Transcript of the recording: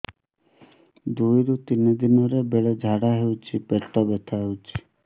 ଦୁଇରୁ ତିନି ଦିନରେ ବେଳେ ଝାଡ଼ା ହେଉଛି ପେଟ ବଥା ହେଉଛି